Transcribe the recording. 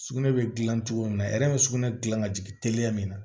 Sugunɛ bɛ dilan cogo min na a yɛrɛ bɛ sugunɛ dilan ka jigin teliya min na